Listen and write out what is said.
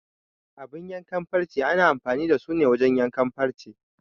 Abun yankan farce ana amfani da su wajen yanke farce.